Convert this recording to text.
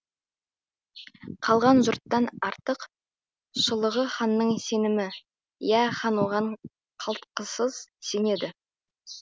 қалған жұрттан артық шылығы ханның сенімі иә хан оған қалтқысыз сенеді